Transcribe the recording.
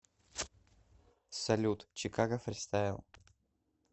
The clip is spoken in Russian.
салют чикаго фристайл